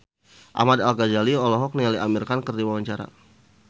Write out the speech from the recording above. Ahmad Al-Ghazali olohok ningali Amir Khan keur diwawancara